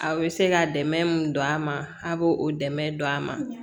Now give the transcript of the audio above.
Aw bɛ se ka dɛmɛ mun don a ma a' b'o dɛmɛ don a ma